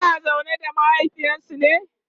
suna zaune da mahaifinsu ne?